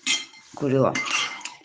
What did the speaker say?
курила